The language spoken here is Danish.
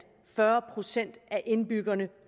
fyrre procent af indbyggerne